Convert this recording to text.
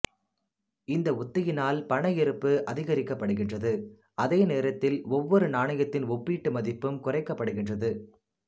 இந்த உத்தியினால் பண இருப்பு அதிகரிக்கப்படுகிறது அதே நேரத்தில் ஒவ்வொரு நாணயத்தின் ஒப்பீட்டு மதிப்பும் குறைக்கப்படுகிறது